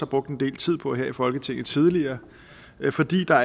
brugt en del tid på her i folketinget tidligere fordi der